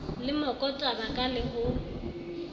le mokotaba ka le ho